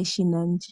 eshina ndi.